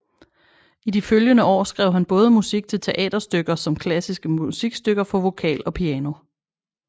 I de følgende år skrev han både musik til teaterstykker som klassiske musikstykker for vokal og piano